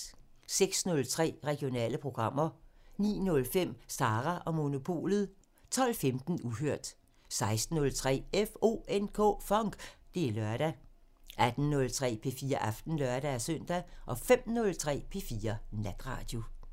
06:03: Regionale programmer 09:05: Sara & Monopolet 12:15: Uhørt 16:03: FONK! Det er lørdag 18:03: P4 Aften (lør-søn) 05:03: P4 Natradio